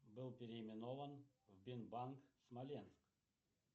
был переименован в бинбанк смоленск